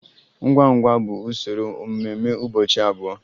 Ngwa ngwa bụ usoro mmemme ụbọchị abụọ.